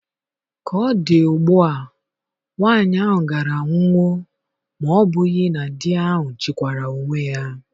Ka ọ dị ugbu a, nwanyị ahụ gaara anwụwo, ma ọ́ bụghị na di ahụ chịkwaara onwe ya.